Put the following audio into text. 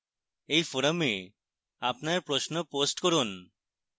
এই forum আপনার প্রশ্ন post করুন